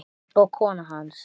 og kona hans.